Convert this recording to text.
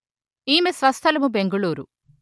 ఈమె స్వస్థలము బెంగుళూరు